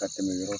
Ka tɛmɛ yɔrɔ